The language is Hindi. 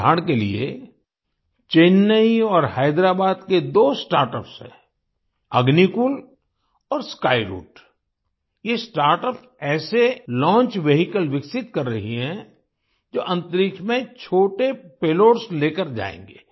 उदाहरण के लिए चेन्नई और हैदराबाद के दो स्टार्टअप्स हैं अग्निकुल और स्काईरूट ये स्टार्टअप्स ऐसे लॉन्च वेहिकल विकसित कर रही हैं जो अन्तरिक्ष में छोटे पेलोड्स लेकर जायेंगे